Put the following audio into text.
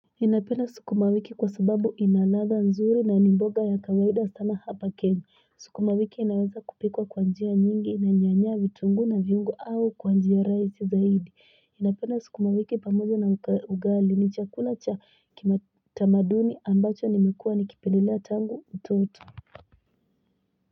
Ninapenda sukuma wiki kwa sababu inaladha nzuri na ni mboga ya kawaida sana hapa kenya. Sukuma wiki inaweza kupikwa kwa njia nyingi na nyanya vitungu na viungo au kwa njia rahisi zaidi. Ninapenda sukuma wiki pamoja na ugali ni chakula cha kima tamaduni ambacho nimekua nikipendilea tangu utoto.